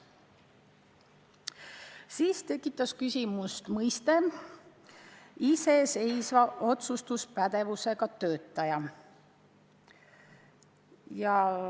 Küsimuse tekitas mõiste "iseseisva otsustuspädevusega töötaja".